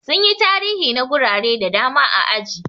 Sun yi tarihi na gurare da dama a aji.